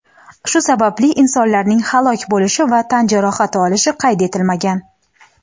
Shu sababli insonlarning halok bo‘lishi va tan jarohat olishi qayd etilmagan.